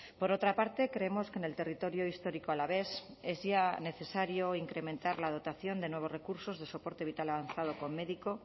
por otra parte creemos que en el territorio histórico alavés es ya necesario incrementar la dotación de nuevos recursos de soporte vital avanzado con médico